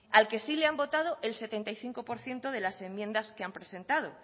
al que sí le han votado el setenta y cinco por ciento de las enmiendas que han presentado